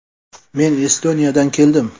Men Estoniyadan keldim.